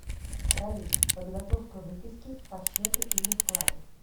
салют подготовка выписки по счету или вкладу